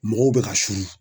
Mɔgɔw bɛ ka suuru